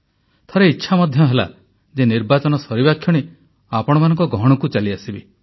ଥରେ ଇଚ୍ଛା ମଧ୍ୟ ହେଲା ଯେ ନିର୍ବାଚନ ସରିବା କ୍ଷଣି ଆପଣମାନଙ୍କ ଗହଣକୁ ଚାଲିଆସିବି